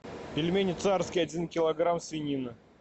пельмени царские один килограмм свинина